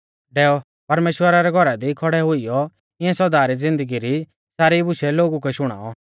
डैऔ परमेश्‍वरा रै घौरा दी खौड़ै हुइयौ इऐं सौदा री ज़िन्दगी री सारी बुशै लोगु कै शुणाऔ